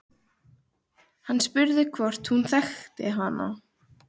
Hann spurði hvort hún þekkti hana.